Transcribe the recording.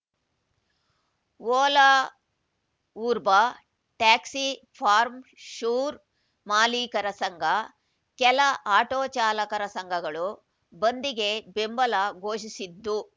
Ola Uber taxi for sure ಮಾಲೀಕರ ಸಂಘ ಕೆಲ ಆಟೋ ಚಾಲಕರ ಸಂಘಗಳು ಬಂದಿಗೆ ಬೆಂಬಲ ಘೋಷಿಸಿದ್ದು